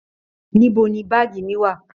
Níbo ní baagi mí wá?